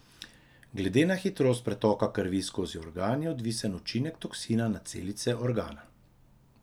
Glede na hitrost pretoka krvi skozi organ je odvisen učinek toksina na celice organa.